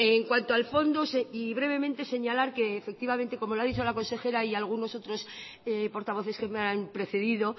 en cuanto al fondo y brevemente señalar que efectivamente cómo lo ha dicho la consejera y algunos otros portavoces que me han precedido